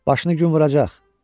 Başını gün vuracaq.